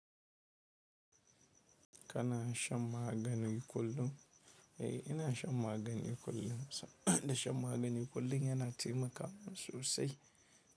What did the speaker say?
Kana shan magani kullum? Eh, ina shan magani kullum, da shan magani kullum yana taimaka min sosai.